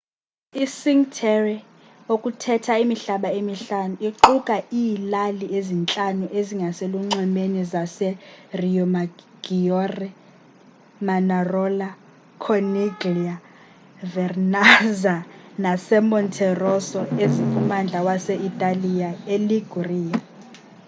icinque terre okuthetha imihlaba emihlanu iquka iilali ezintlanu ezingaselunxwemeni zaseriomaggiore manarola corniglia vernazza nasemonterosso ezikummandla wase-italiya iliguria